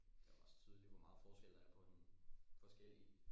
Det er også tydeligt hvor meget forskel der er på en forskellig